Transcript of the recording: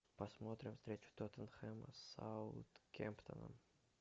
посмотрим встречу тоттенхэма с саутгемптоном